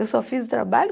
Eu só fiz o trabalho.